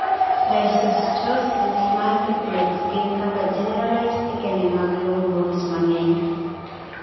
Dysostosis multiplex gin kaka generalized thickening mag long bones mang'eny